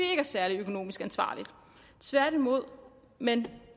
er særlig økonomisk ansvarligt tværtimod men